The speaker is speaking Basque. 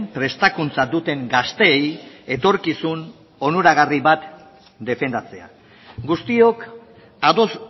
prestakuntza duten gazteei etorkizun onuragarri bat defendatzea guztiok ados